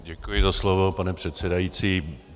Děkuji za slovo, pane předsedající.